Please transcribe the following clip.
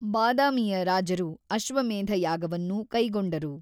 ಬಾದಾಮಿಯ ರಾಜರು ಅಶ್ವಮೇಧ ಯಾಗವನ್ನೂ ಕೈಗೊಂಡರು.